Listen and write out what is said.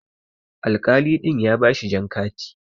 Alkali ɗin ya bashi jan kati.